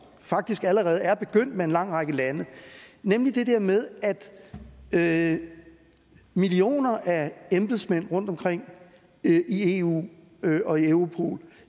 faktisk allerede er begyndt med en lang række lande nemlig det der med at millioner af embedsmænd rundt omkring i eu og i europol